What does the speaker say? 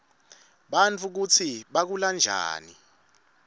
bantfu kutsi bakhulanjani